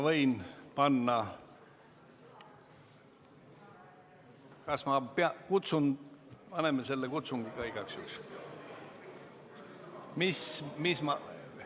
Paneme selle kutsungi ka igaks juhuks käima.